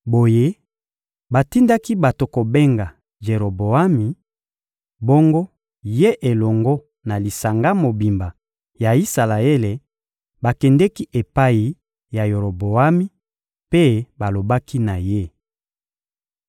Boye, batindaki bato kobenga Jeroboami; bongo ye elongo na lisanga mobimba ya Isalaele bakendeki epai ya Roboami mpe balobaki na ye: